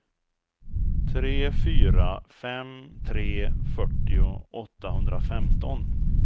tre fyra fem tre fyrtio åttahundrafemton